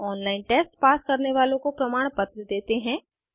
online test pass करने वालों को प्रमाणपत्र देते हैं